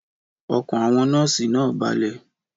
Ọkàn àwọn nọ́ọ̀sì náà balẹ̀.